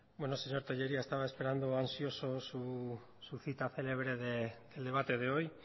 bueno señor tellería estaba esperando ansioso su cita celebre del debate de hoy